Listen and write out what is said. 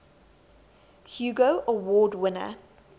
hugo award winner